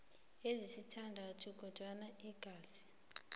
ezisithandathu kodwana ingasi